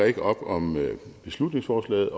ikke op om beslutningsforslaget